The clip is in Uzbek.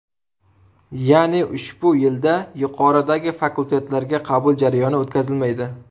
Ya’ni ushbu yilda yuqoridagi fakultetlarga qabul jarayoni o‘tkazilmaydi.